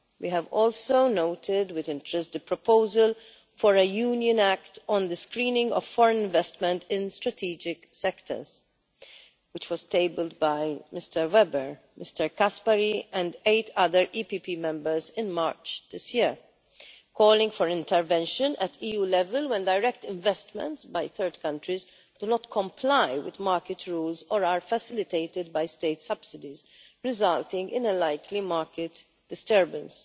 We have also noted with interest the proposal for a Union act on the screening of foreign investment in strategic sectors, which was tabled by Mr Weber, Mr Caspary and eight other EPP Members in March this year, calling for intervention at EU level when direct investments by third countries do not comply with market rules or are facilitated by state subsidies, resulting in a likely market disturbance.